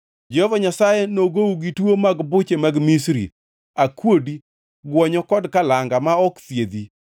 Jehova Nyasaye nogou gi tuo mag buche mag Misri, akuodi, gwonyo kod kalanga ma ok thiedhi.